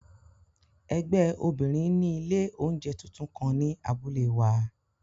Ẹgbẹ obinrin ni ile ounjẹ tuntun kan ni abule wa.